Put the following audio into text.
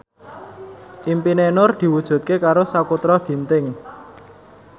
impine Nur diwujudke karo Sakutra Ginting